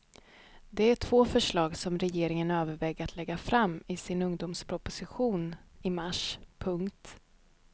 Det är två förslag som regeringen överväger att lägga fram i sin ungdomsproposition i mars. punkt